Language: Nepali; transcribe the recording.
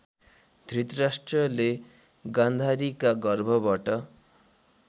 धृतराष्ट्रले गान्धारीका गर्भबाट